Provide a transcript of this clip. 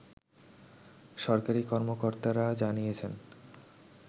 সরকারি কর্মকর্তারা জানিয়েছেন